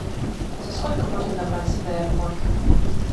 за сколько можно добраться до аэропорта